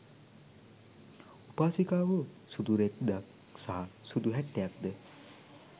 උපාසිකාවෝ සුදු රෙද්දක් සහ සුදු හැට්ටයක්ද